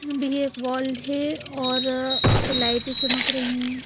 भी एक वाल है और उसपे लाइटें चमक रही--